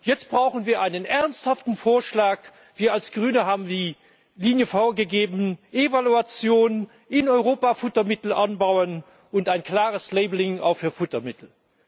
Jetzt brauchen wir einen ernsthaften Vorschlag. Wir als Grüne haben die Linie vorgegeben Evaluation in Europa, Futtermittel anbauen, und ein klares Labelling auch für Futtermittel.